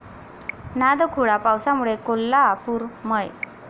नादखुळा पावसामुळे कोल्हा'पूर'मय!